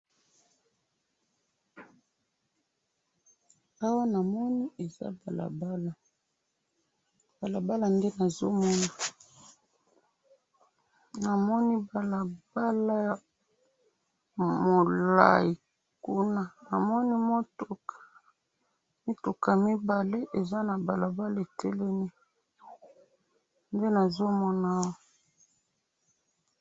awa namoni eza balabala, balabala nde nazo mon, namoni balabala ya mulai kuna, namoni mutuka, mituka mibale eza na balabala etelemi, nde nazo mona awa.